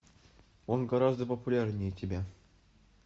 он гораздо популярнее тебя